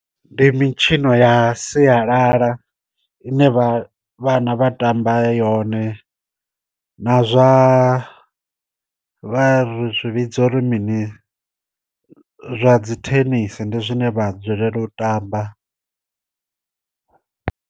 Ndi mitshino ya sialala ine vha vhana vha tamba yone na zwa vha zwi vhidza uri mini zwa dzi thenisi ndi zwine vha dzulele u tamba.